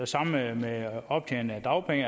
samme med optjening af dagpenge